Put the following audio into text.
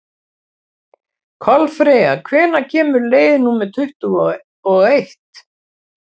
Kolfreyja, hvenær kemur leið númer tuttugu og eitt?